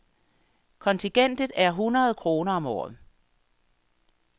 Kontingentet er hundrede kroner om året.